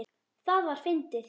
Það var fyndið.